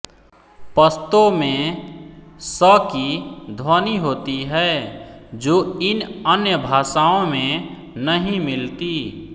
पश्तो में ष की ध्वनी होती है जो इन अन्य भाषाओँ में नहीं मिलती